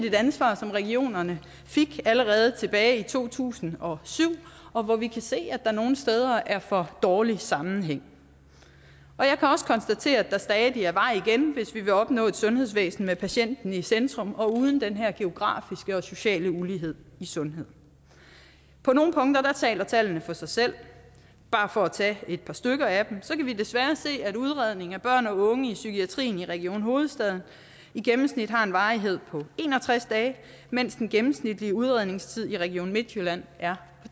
et ansvar som regionerne fik allerede tilbage i to tusind og syv og hvor vi kan se at der nogle steder er for dårlig sammenhæng jeg kan også konstatere at der stadig er vej igen hvis vi vil opnå et sundhedsvæsen med patienten i centrum og uden den her geografiske og sociale ulighed i sundhed på nogle punkter taler tallene for sig selv bare for at tage et par stykker af dem så kan vi desværre se at udredning af børn og unge i psykiatrien i region hovedstaden i gennemsnit har en varighed på en og tres dage mens den gennemsnitlige udredningstid i region midtjylland er